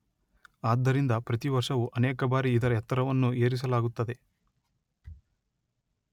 ಆದ್ದರಿಂದ ಪ್ರತಿವರ್ಷವು ಅನೇಕ ಬಾರಿ ಇದರ ಎತ್ತರವನ್ನು ಏರಿಸಲಾಗುತ್ತದೆ.